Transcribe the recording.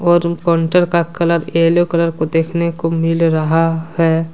और काउंटर का colour yellow colour को देखने को मिल रहा है।